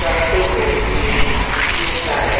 रास्ते को बीच में जोड़ता है।